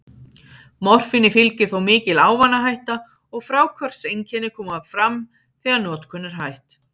Morfíni fylgir þó mikil ávanahætta, og fráhvarfseinkenni koma fram þegar notkun er hætt.